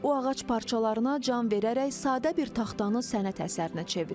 O ağac parçalarına can verərək sadə bir taxtanı sənət əsərinə çevirir.